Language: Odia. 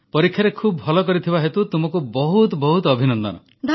ପରୀକ୍ଷାରେ ଖୁବ୍ ଭଲ କରିଥିବା ହେତୁ ତୁମକୁ ବହୁତ ବହୁତ ଅଭିନନ୍ଦନ